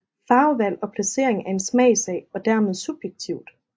Farvevalg og placering er en smagssag og er dermed subjektivt